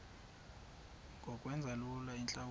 ngokwenza lula iintlawulo